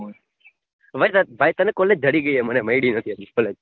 ભાઈ તને collage જડી ગઈ અમને મળી નથી હજી collage.